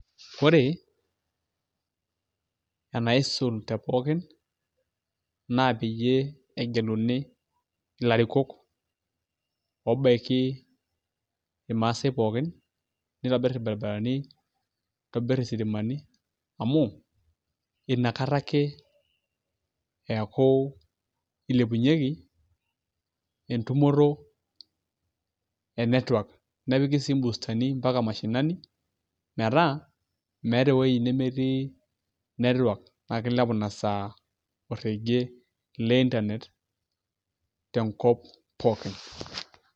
Ore enaisul te pookin naa peyie egeluni ilarrikook obaiki irmaasai pookin nitobirr irbaribarani nitobirr isitimani amu inkata ake eeku ilepunyieki entumoto e network nepiki sii imboostani mpaka mashinani metaa meeta ewoi nemetii network naa kilepu ina saa orregie le internet tenkop pookin.